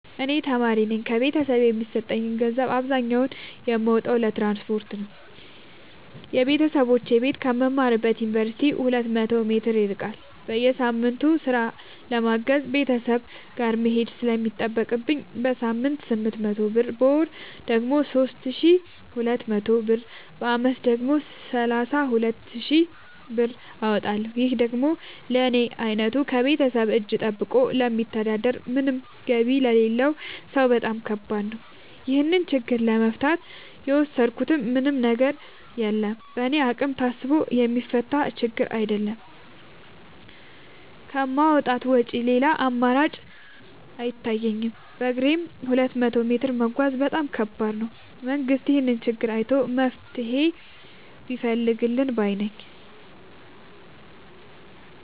እኔ ተማሪነኝ ከቤተሰብ የሚሰጠኝን ገንዘብ አብዛኛውን የማወጣው ለትራንስፖርት ነው የበተሰቦቼ ቤት ከምማርበት ዮንቨርሲቲ ሁለት መቶ ሜትር ይርቃል። በየሳምቱ ስራ ለማገዝ ቤተሰብ ጋር መሄድ ስለሚጠቅብኝ በሳምንት ስምንት መቶ ብር በወር ደግሞ ሶስት ሺ ሁለት መቶ ብር በአመት ደግሞ ሰላሳ ሁለት ሺ ብር አወጣለሁ ይህ ደግሞ ለኔ አይነቱ ከቤተሰብ እጂ ጠብቆ ለሚተዳደር ምንም ገቢ ለሌለው ሰው በጣም ከባድ ነው። ይህን ችግር ለመፍታት የወሰድኩት ምንም ነገር የለም በእኔ አቅም ታስቦ የሚፈታ ችግርም አይደለም ከማውጣት ውጪ ሌላ አማራጭ አይታየኝም በግሬም ሁለት መቶ ሜትር መጓዝ በጣም ከባድ ነው። መንግስት ይህንን ችግር አይቶ መፍትሔ ቢፈልግልን ባይነኝ።